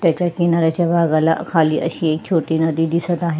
त्याच्या किनाऱ्याच्या भागाला खाली अशी एक नदी दिसत आहे.